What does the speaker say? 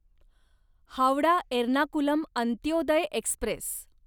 Howrah Ernakulam Antyodaya Express